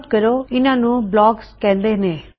note ਕਰੋ ਇਹਨਾ ਨੂੰ ਬਲੌਕਸ ਕਹਿੰਦੇ ਨੇ